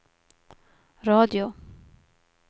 radio